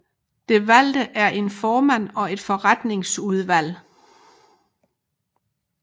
Det valgte en formand og et forretningsudvalg